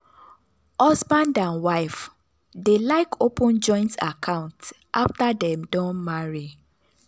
husband and wife dey like open joint account after dem don marry.